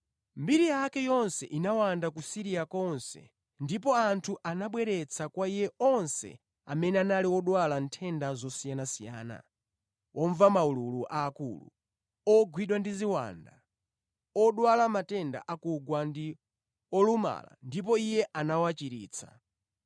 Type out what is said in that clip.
Mbiri yake yonse inawanda ku Siriya konse ndipo anthu anabweretsa kwa Iye onse amene anali odwala nthenda zosiyanasiyana, womva maululu aakulu, ogwidwa ndi ziwanda, odwala matenda akugwa ndi olumala ndipo Iye anawachiritsa.